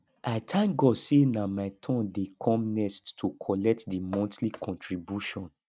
i thank god say nah my turn dey come next to collect the monthly contribution